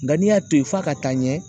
Nka n'i y'a to yen f'a ka taa ɲɛ